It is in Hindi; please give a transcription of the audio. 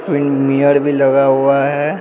विन मिरर भी लगा हुआ है।